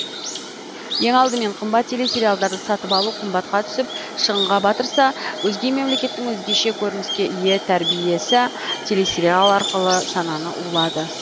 ең алдымен қымбат телесериалдарды сатып алу қымбатқа түсіп шығынға батырса өзге мемлекеттің өзгеше көрініске ие тәрбиесі телесериал арқылы сананы улады